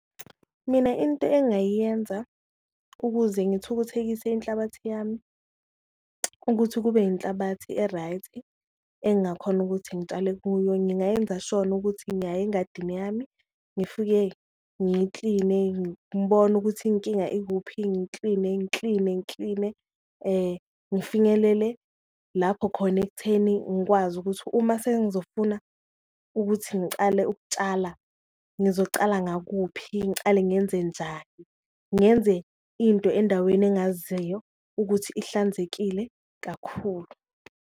Mina into engayiyenza ukuze ngithukuthekise inhlabathi yami ukuthi kube inhlabathi e-right engakhona ukuthi ngitshale kuyo, ngingayenza shona ukuthi ngiyaya engadini yami, ngifike ngiyikline ngibone ukuthi inkinga ikuphi. Ngikline, ngikline, ngikline ngifinyelele lapho khona ekutheni ngikwazi ukuthi uma sengizofuna ukuthi ngicale ukutshala, ngizocala ngakuphi ngicale ngenzenjani, ngenze into endaweni engaziyo ukuthi ihlanzekile kakhulu.